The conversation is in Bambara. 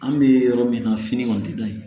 An bɛ yɔrɔ min na fini kɔni tɛ da in